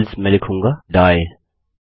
else मैं लिखूँगा die